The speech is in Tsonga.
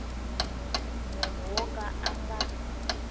munhu wo ka a nga